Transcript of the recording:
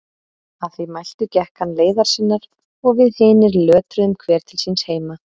Að því mæltu gekk hann leiðar sinnar og við hinir lötruðum hver til síns heima.